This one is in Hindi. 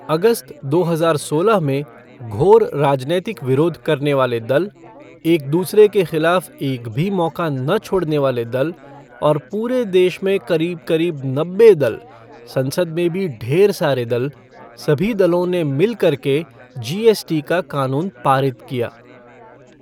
अगस्त, दो हजार सोलह में घोर राजनैतिक विरोध करने वाले दल, एक दूसरे के ख़िलाफ़ एक भी मौका न छोड़ने वाले दल, और पूरे देश में क़रीब क़रीब नब्बे दल, संसद में भी ढेर सारे दल, सभी दलों ने मिल कर के जीएसटी का क़ानून पारित किया।